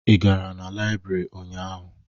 Ị gara na Laibri ụnyaahụ?